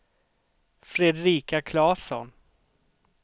Fredrika Claesson